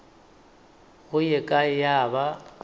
go ye kae ya ba